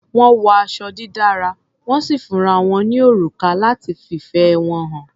Wọ́n wọ aṣọ dídára, wọ́n sì fúnra wọn ní òrùka láti fìfẹ́ wọn hàn.